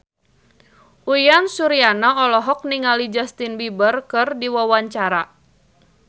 Uyan Suryana olohok ningali Justin Beiber keur diwawancara